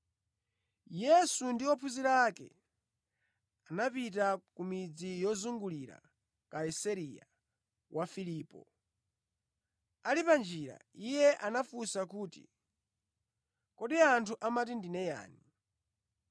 Yesu ndi ophunzira ake anapita ku midzi yozungulira Kaisareya wa Filipo. Ali panjira, Iye anawafunsa kuti, “Kodi anthu amati ndine yani?”